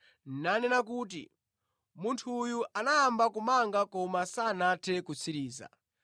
nanena kuti, ‘Munthu uyu anayamba kumanga koma sanathe kutsiriza.’